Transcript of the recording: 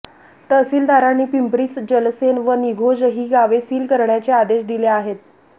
तहसीलदारांनी पिंपरी जलसेन व निघोज ही गावे सील करण्याचे आदेश दिले आहेत